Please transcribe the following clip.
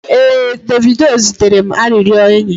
ee, Davido zitere m arịrịọ enyi